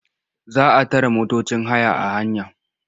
Za a tare motocin haya a hanya.